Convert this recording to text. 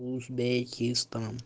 узбекистан